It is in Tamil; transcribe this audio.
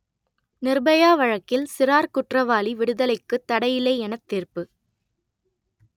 நிர்பயா வழக்கில் சிறார் குற்றவாளி விடுதலைக்குத் தடையில்லை எனத் தீர்ப்பு